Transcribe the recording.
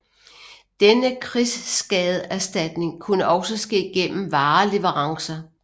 Denne krigsskadeerstatning kunne også ske gennem vareleverancer